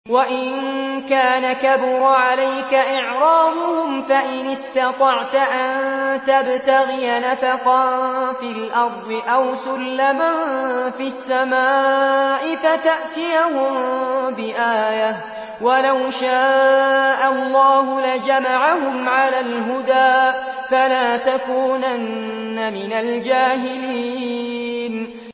وَإِن كَانَ كَبُرَ عَلَيْكَ إِعْرَاضُهُمْ فَإِنِ اسْتَطَعْتَ أَن تَبْتَغِيَ نَفَقًا فِي الْأَرْضِ أَوْ سُلَّمًا فِي السَّمَاءِ فَتَأْتِيَهُم بِآيَةٍ ۚ وَلَوْ شَاءَ اللَّهُ لَجَمَعَهُمْ عَلَى الْهُدَىٰ ۚ فَلَا تَكُونَنَّ مِنَ الْجَاهِلِينَ